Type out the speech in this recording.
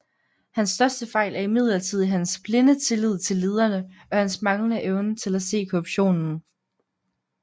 Hans største fejl er imidlertid hans blinde tillid til lederne og hans manglende evne til at se korruptionen